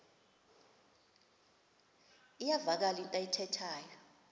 iyavakala into ayithethayo